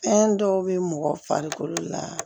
Fɛn dɔw bɛ mɔgɔ farikolo la